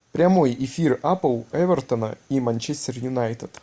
прямой эфир апл эвертона и манчестер юнайтед